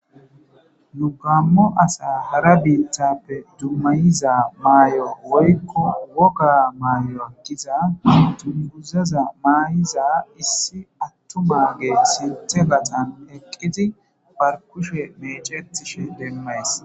Nu gamo asa hara biitappe dumma dumma iza maaya woyko wogga maaya gidiza dunguza mayiza issa athumage sinthathan eqqidi bar kushe meccetishe demmees.